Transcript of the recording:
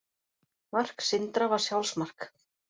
Mark Sindra var sjálfsmark.